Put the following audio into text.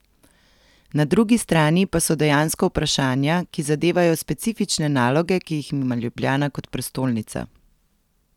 Na drugi strani pa so dejansko vprašanja, ki zadevajo specifične naloge, ki jih ima Ljubljana kot prestolnica.